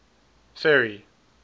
ferry